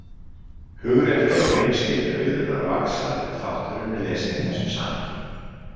Hugrekki og hreinskilni Auðunar vaxa ef þátturinn er lesinn í þessu samhengi.